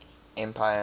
empire